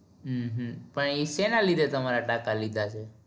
હમ હં પણ એ શેના લીધે તમારા ટાંકા લીધા છે?